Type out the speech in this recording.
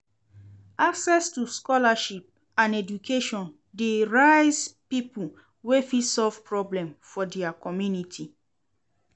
Access to scholarship and education de raise pipo wey fit solve problems for their community